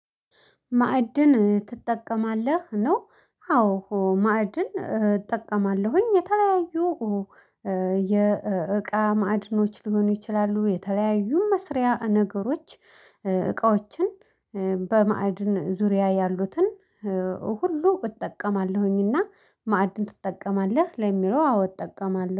ማዕድን ትጠቀማለህ ነው? አዎ ማዕድን እጠቀማለሁኝ የተለያዩ የእቃ ማዕድኖች ሊሆኑ ይችላሉ። የተለያዩ መስሪያ ነገሮች። እቃዎችን በማዕድን ዙሪያ ያሉትን ሁሉ እጠቀማለሁኝና። ማዕድን ትጠቀማለህ? ለሚለው አዎ እጠቀማለሁ